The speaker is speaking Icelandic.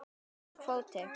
Og nógur kvóti.